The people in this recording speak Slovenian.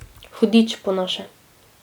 Hudič po naše.